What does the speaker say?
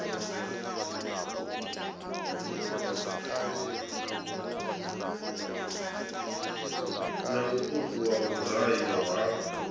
na mutuku wa mugayo ha